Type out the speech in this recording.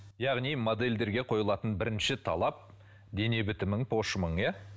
яғни модельдерге қойылатын бірінші талап дене бітімің пошымың иә